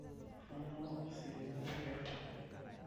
ainyangua ositima lenker